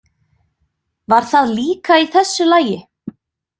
Var það líka í þessu lagi?